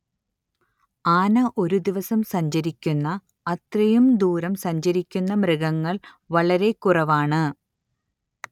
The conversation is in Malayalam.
ആന ഒരു ദിവസം സഞ്ചരിക്കുന്ന അത്രയും ദൂരം സഞ്ചരിക്കുന്ന മൃഗങ്ങൾ വളരെ കുറവാണ്